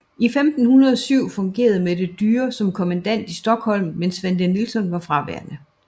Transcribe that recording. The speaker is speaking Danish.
I 1507 fungerede Mette Dyre som kommandant i Stockholm mens Svante Nilsson var fraværende